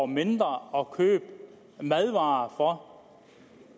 mindre at købe madvarer for